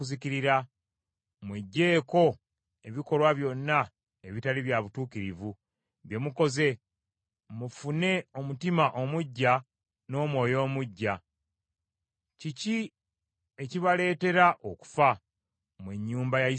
Mweggyeeko ebikolwa byonna ebitali bya butuukirivu, bye mukoze, mufune omutima omuggya n’omwoyo omuggya. Kiki ekibaleetera okufa, mmwe ennyumba ya Isirayiri?